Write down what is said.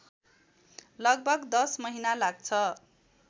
लगभग १० महिना लाग्छ